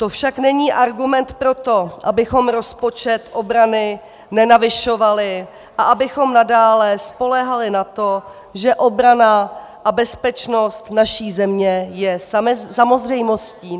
To však není argument pro to, abychom rozpočet obrany nenavyšovali a abychom nadále spoléhali na to, že obrana a bezpečnost naší země je samozřejmostí.